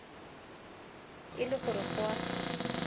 e le gore go a